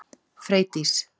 Freydís